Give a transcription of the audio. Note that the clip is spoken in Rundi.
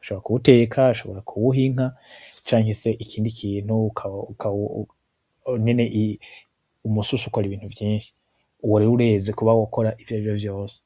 ushobora kuwuteka, ushobora kuwuha inka canke ikindi kintu nyene umususa ukora Ibintu vyinshi uwo rero ureze kuba wokora ivyarivyo vyose.